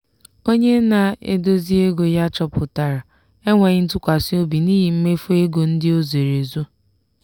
onye na-eduzi ego ya chọpụtara enweghị ntụkwasị obi n'ihi mmefu ego ndị o zoro ezo.